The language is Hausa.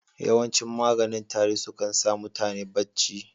Yawancin maganin tari su kan sa mutane bacci.